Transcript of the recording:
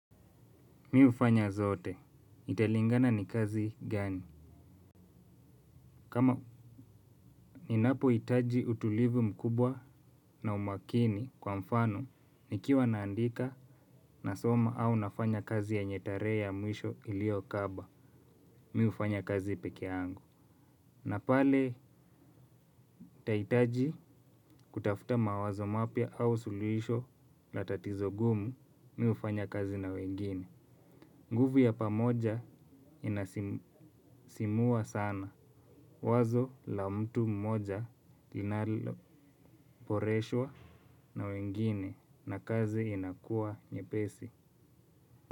Mi hufanya zote. Italingana ni kazi gani? Kama ninapohitaji utulivu mkubwa na umakini kwa mfano, nikiwa naandika na soma au nafanya kazi yenye tarehe ya mwisho iliyokaba. Mi hufanya kazi peke yangu. Na pale, itahitaji kutafuta mawazo mapya au sulihisho la tatizo gumu, mi hufanya kazi na wengine. Nguvu ya pamoja inasisimua sana. Wazo la mtu mmoja inaloboreshwa na wengine na kazi inakuwa nyepesi.